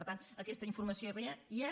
per tant aquesta informació hi és